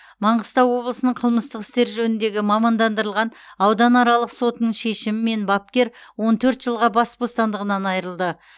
маңғыстау облысының қылмыстық істер жөніндегі мамандандырылған ауданаралық сотының шешімімен бапкер он төрт жылға бас бостандығынан айырылды